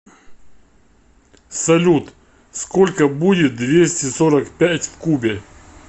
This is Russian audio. салют сколько будет двести сорок пять в кубе